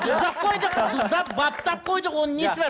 тұздап қойдық тұздап баптап қойдық оның несі бар